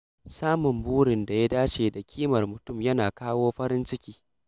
Samun burin da ya dace da ƙimar mutum yana kawo farin ciki.